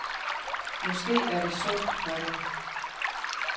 Måske er det sundt for dem.